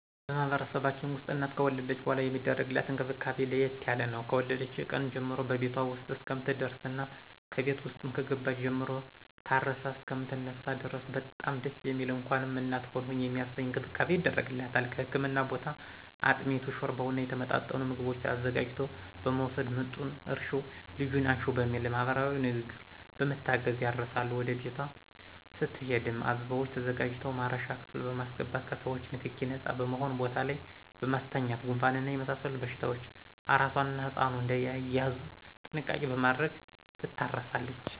በማህበረሰባችን ውስጥ እናት ከወለደች በኃላ የሚደረግላት እንክብካቤ ለየት ያለ ነው። ከወለደች ቀን ጀምሮ በቤቷ ውስጥ እስከምትደርስና ከቤት ውስጥም ከገባች ጀምሮ ታርሳ እሰከምትነሳ ድረስ በጣም ደስ የሚል እንኳንም እናት ሆንሁ የሚያሰኝ እንክብካቤ ይደረግላታል ከህክምና ቦታ አጥሚቱን: ሾርባውና የተመጣጠኑ ምግቦችን አዘጋጅቶ በመወሰድ ምጡን እርሽው ልጁን አንሽው በሚል ማህበረሰባዊ ንግግሮች በመታገዝ ያርሳሉ ወደ ቤቷ ስትሄድም አበባዎች ተዘጋጅተው ማረሻ ክፍል በማሰገባት ከሰዎቾ ንክኪ ነጻ በሆነ ቦታ ላይ በማስተኛት ጉንፋንና የመሳሰሉት በሽታዎች አራሷና ህጻኑ እዳይያዙ ጥንቃቄ በማድረግ ትታረሳለች